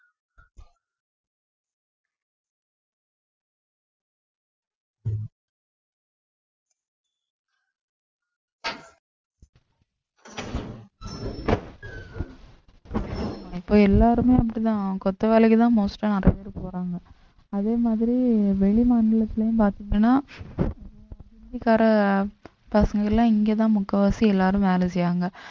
இப்ப எல்லாருமே அப்படித்தான் கொத்த வேலைக்குத்தான் most ஆ நடந்துட்டு போறாங்க அதே மாதிரி வெளிமாநிலத்திலயும் பாத்தீங்கன்னா இந்திக்கார பசங்க எல்லாம் இங்கதான் முக்காவாசி எல்லாரும் வேலை செய்யறாங்க